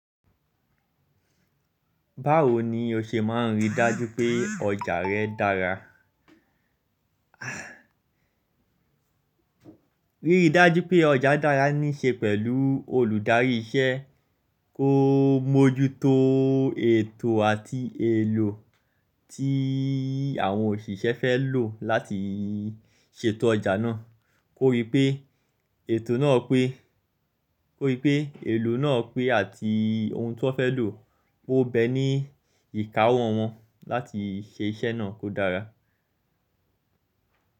Báwo ni o ṣe máa ń rí dájú pé ọjà rẹ dára? Ríri dájú pé ọjà dára níí ṣe pẹ̀lú olùdarí iṣẹ́ kó mójútó ètò àti èlò tí àwọn òṣìṣẹ́ fẹ́ lò láti ṣètò ọjà náà. Kó rípé ètò náà pé, kó rípé èlò náà pé àti ohun tí wọ́n fẹ́ lò pó bẹ́ ní ìkáwọ́ wọn láti ṣe iṣẹ́ náà kó dára.